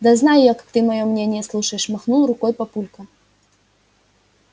да знаю я как ты моё мнение слушаешь махнул рукой папулька